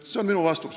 See on minu vastus.